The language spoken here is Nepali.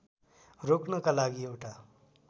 रोक्नका लागि एउटा